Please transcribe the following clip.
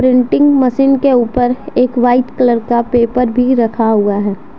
Printing machine के ऊपर एक वाइट कलर का पेपर भी रखा हुआ है।